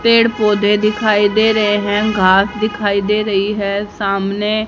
पेड़ पौधे दिखाई दे रहे हैं घास दिखाई दे रही है सामने।